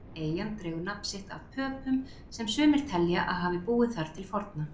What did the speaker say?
Eyjan dregur nafn sitt af Pöpum sem sumir telja að hafa búið þar til forna.